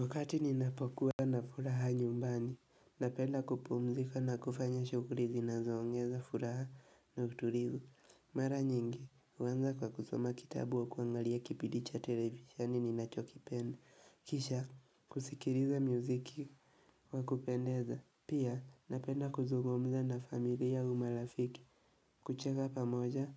Wakati ninapokuwa na furaha nyumbani, napenda kupumzika na kufanya shughuli zinazoongeza furaha na utulive. Mara nyingi, huanza kwa kusoma kitabu au kuangalia kipidi cha televisheni ninachokipenda. Kisha, kusikiliza mziki kwa kupendeza. Pia, napenda kuzungumza na familia au marafiki, kucheka pamoja